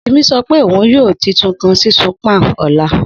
Simi sọ pe oun yoo. uy titun kan sisun pan ọla